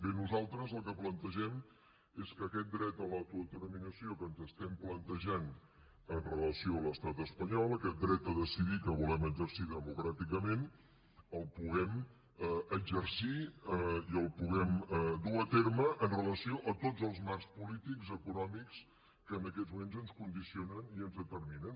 bé nosaltres el que plantegem és que aquest dret a l’autodeterminació que ens estem plantejant amb relació a l’estat espanyol aquest dret a decidir que volem exercir democràticament el puguem exercir i el puguem dur a terme amb relació a tots els marcs polítics i econòmics que en aquests moments ens condicionen i ens determinen